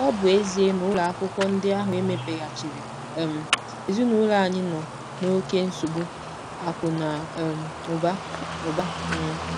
Ọ bụ ezie na ụlọ akwụkwọ ndị ahụ emepeghachiri um, ezinụlọ anyị nọ n'oké nsogbu akụ̀ na um ụba ụba um.